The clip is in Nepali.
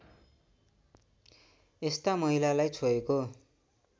यस्ता महिलालाई छोएको